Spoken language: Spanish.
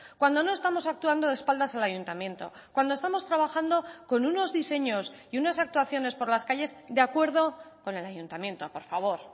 cuando no estamos actuando de espaldas al ayuntamiento cuando estamos trabajando con unos diseños y unas actuaciones por las calles de acuerdo con el ayuntamiento por favor